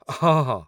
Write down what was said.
ହଁ, ହଁ।